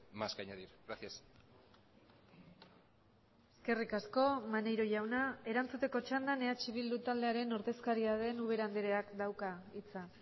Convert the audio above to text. más que añadir gracias eskerrik asko maneiro jauna erantzuteko txandan eh bildu taldearen ordezkaria den ubera andreak dauka hitza